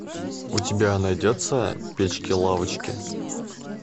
у тебя найдется печки лавочки